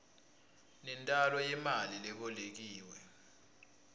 nentalo yemali lebolekiwe